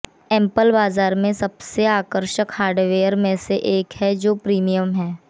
Apple बाजार में सबसे आकर्षक हार्डवेयर में से एक है जो प्रीमियम है